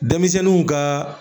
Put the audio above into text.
Denmisɛnninw ka